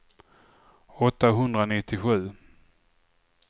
åttahundranittiosju